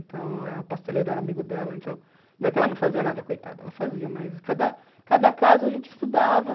Então, o pasteleiro era amigo dela, então... Não é que ela não fazia nada, coitada, ela fazia, mas cada cada casa a gente estudava.